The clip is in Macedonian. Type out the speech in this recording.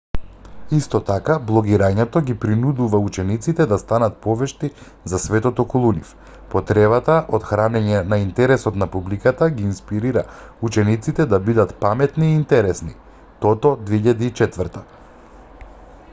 исто така блогирањето ги принудува учениците да станат повешти за светот околу нив . потребата од хранење на интересот на публиката ги инспирира учениците да бидат паметни и интересни toto 2004